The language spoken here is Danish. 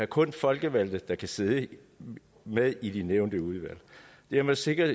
kun er folkevalgte der kan sidde med i de nævnte udvalg dermed sikrer